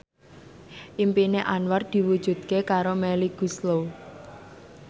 impine Anwar diwujudke karo Melly Goeslaw